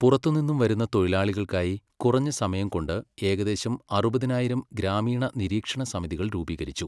പുറത്തുനിന്നും വരുന്ന തൊഴിലാളികൾക്കായി കുറഞ്ഞസമയം കൊണ്ട് ഏകദേശം അറുപതിനായിരം ഗ്രാമീണ നിരീക്ഷണ സമിതികൾ രൂപീകരിച്ചു.